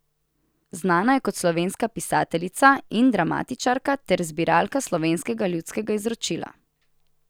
Znana je kot slovenska pisateljica in dramatičarka ter zbiralka slovenskega ljudskega izročila.